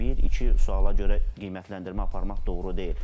Bir, iki suala görə qiymətləndirmə aparmaq doğru deyil.